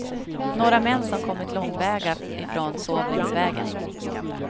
Några män som kommit långväga ifrån sov längs väggen.